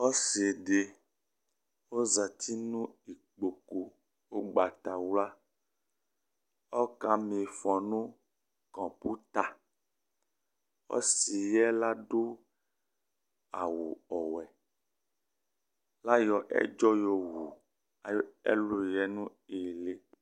Ɔsɩ ɖɩ ozati nʋ ƙƥoƙu ʋgbatawlaƆƙa m'ɩfɔ nʋ kɔƥotaƆsɩ ƴɛ l'aɖʋ awʋ ɔwɛL' aƴɔ ɛɖzɔ ƴɔwu aƴʋ ɛlʋ ƴɛ nʋ ɩhɩlɩ